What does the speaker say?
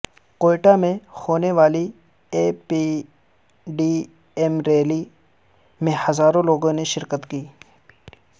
کوئٹہ میں ہونے والی اے پی ڈی ایم ریلی میں ہزاروں لوگوں نے شرکت کی